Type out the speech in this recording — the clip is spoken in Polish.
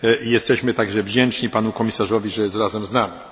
jesteśmy także wdzięczni panu komisarzowi, że jest razem z nami.